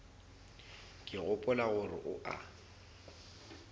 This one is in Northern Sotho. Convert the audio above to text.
ke gopola gore o a